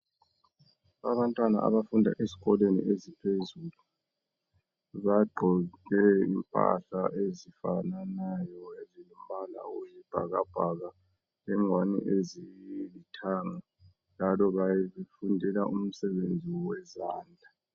Abantwana abafunda eskolweni esiphezulu baqoke impahla ezifananayo ezilombala oyisibhakabhaka lengwane ezilithanga njalo bafundela umsebenzi wezandla.